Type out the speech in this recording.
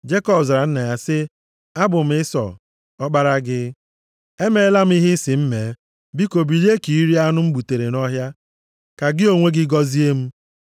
Jekọb zara nna ya sị ya, “Abụ m Ịsọ, ọkpara gị. Emeela m ihe ị sị m mee. Biko bilie ka i rie anụ m gbutere nʼọhịa, ka gị onwe gị gọzie m.”